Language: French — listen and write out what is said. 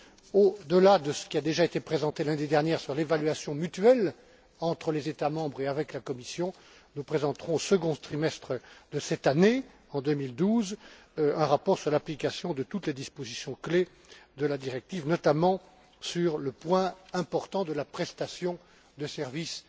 Au delà de ce qui a déjà été présenté lundi dernier sur l'évaluation mutuelle entre les États membres et avec la Commission, nous présenterons au second trimestre de cette année, en 2012, un rapport sur l'application de toutes les dispositions clés de la directive, notamment sur le point important de la prestation de services